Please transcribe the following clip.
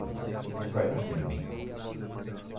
E eu caí em cima.